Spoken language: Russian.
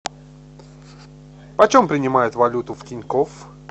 почем принимают валюту в тинькофф